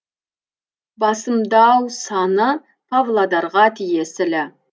басымдау саны павлодарға тиесілі